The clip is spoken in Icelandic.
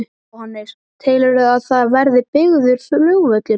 Jóhannes: Telurðu að það verði byggður flugvöllur hérna?